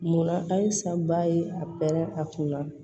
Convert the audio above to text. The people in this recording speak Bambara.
Munna ayi sanbaa ye a pɛrɛn a kunna